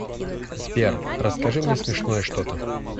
сбер расскажи мне смешное что то